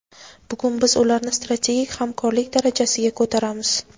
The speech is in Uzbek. Bugun biz ularni strategik hamkorlik darajasiga ko‘taramiz.